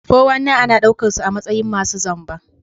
419 ana daukar su a matsayin masu zamba.